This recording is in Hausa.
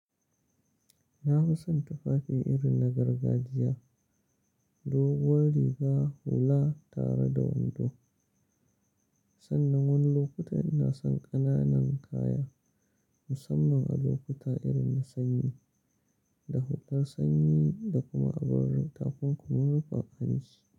Na fi son tufafi irin na gargajiya, doguwar riga hula tare da wando. Sannan wani lokuta ina son ƙananan kaya musamman a lokuta irin na sanyi, da hular sanyi da kuma abun rufe takun kuma rufe hanci.